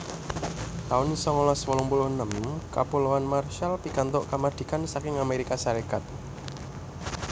taun songolas wolung puluh enem Kapuloan Marshall pikantuk kamardikan saking Amérika Sarékat